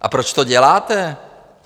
A proč to děláte?